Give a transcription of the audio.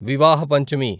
వివాహ పంచమి